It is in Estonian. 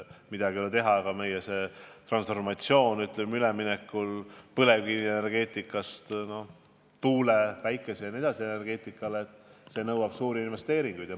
Midagi ei ole teha, aga meie üleminek põlevkivienergeetikalt tuule-, päikese- ja nii edasi energeetikale nõuab suuri investeeringuid.